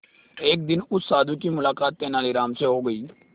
एक दिन उस साधु की मुलाकात तेनालीराम से हो गई